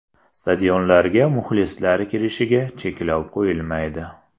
Stadionlarga muxlislar kirishiga cheklov qo‘yilmaydi.